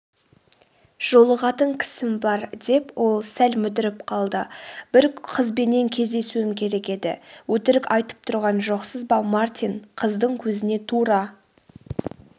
жолығатын кісім бар.деп ол сәл мүдіріп қалды бір қызбенен кездесуім керек еді.өтірік айтып тұрған жоқсыз ба мартин қыздың көзіне тура